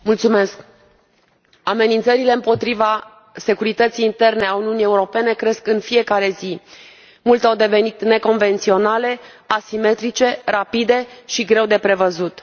Doamnă președintă, amenințările împotriva securității interne a Uniunii Europene cresc în fiecare zi. Multe au devenit neconvenționale, asimetrice, rapide și greu de prevăzut.